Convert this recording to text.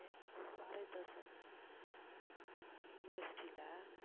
Bharathidasan university ல